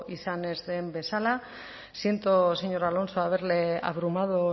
izan ez den bezala siento señor alonso haberle abrumado